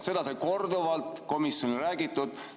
Seda sai korduvalt komisjonis räägitud.